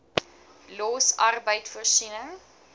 los arbeid voorsiening